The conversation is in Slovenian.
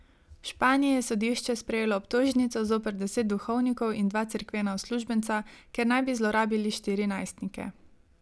V Španiji je sodišče sprejelo obtožnico zoper deset duhovnikov in dva cerkvena uslužbenca, ker naj bi zlorabili štiri najstnike.